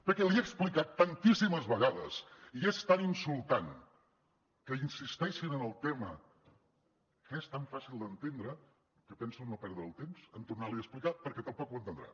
perquè li he explicat tantíssimes vegades i és tan insultant que insisteixin en el tema que és tan fàcil d’entendre que penso no perdre el temps a tornar li a explicar perquè tampoc ho entendrà